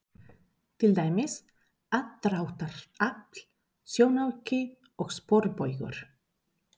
Til dæmis: aðdráttarafl, sjónauki og sporbaugur.